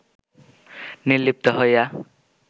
নির্লিপ্ত হইয়া